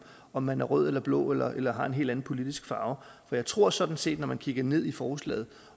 om man er rød eller blå eller eller har en helt anden politisk farve for jeg tror sådan set at når man kigger ned i forslaget